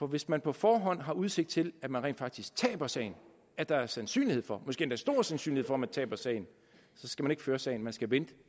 hvis man på forhånd har udsigt til at man rent faktisk taber sagen at der er sandsynlighed for måske endda stor sandsynlighed for at man taber sagen så skal man ikke føre sagen man skal vente